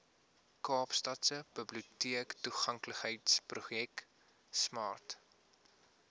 kaapstadse biblioteektoeganklikheidsprojek smart